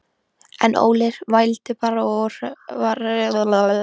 En Óli vældi bara og var hræddur.